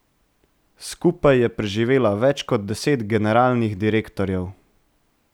Skupaj je preživela več kot deset generalnih direktorjev.